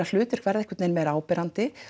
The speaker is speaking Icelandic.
hlutverk verða einhvern veginn meira áberandi